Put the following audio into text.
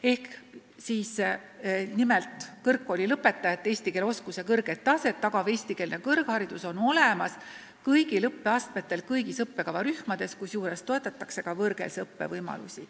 Märgiti, et kõrgkoolilõpetajate kõrget eesti keele oskuse taset tagav eestikeelne õpe on olemas kõigil õppeastmetel kõigis õppekavarühmades, kusjuures toetatakse ka võõrkeelse õppe võimalusi.